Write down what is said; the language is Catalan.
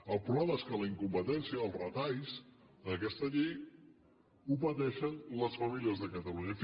el problema és que la incompetència i els retalls a aquesta llei els pateixen les famílies de catalunya